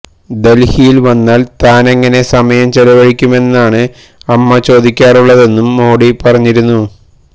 ദൽഹിയിൽ വന്നാൽ താനെങ്ങനെ സമയം ചെലവഴിക്കുമെന്നാണ് അമ്മ ചോദിക്കാറുള്ളതെന്നും മോഡി പറഞ്ഞിരുന്നു